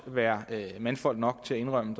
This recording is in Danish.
være mandfolk nok til at indrømme